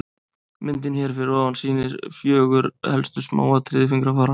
myndin hér fyrir ofan sýnir fjögur helstu smáatriði fingrafara